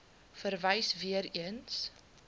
verwys weer eens